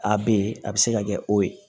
A be yen a be se ka kɛ o ye